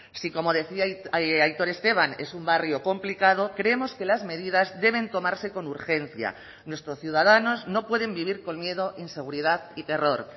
si como decía aitor esteban es un barrio complicado creemos que las medidas deben tomarse con urgencia nuestros ciudadanos no pueden vivir con miedo inseguridad y terror